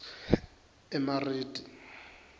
emariti